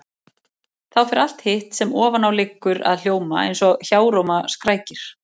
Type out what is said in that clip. Þá fer allt hitt sem ofan á liggur að hljóma eins og hjáróma skrækir.